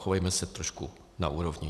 Chovejme se trošku na úrovni.